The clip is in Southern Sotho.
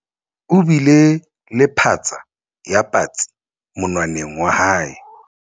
o bile le phatsa ya patsi monwaneng wa hae